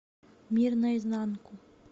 мир наизнанку